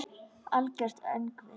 Algert öngvit!